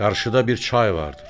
Qarşıda bir çay vardır.